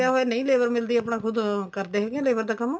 ਹੋਵੇ ਨਹੀਂ labor ਮਿਲਦੀ ਪਨਾ ਖੁਦ ਕਰਦੇ ਹੈਗੇ labor ਦਾ ਕੰਮ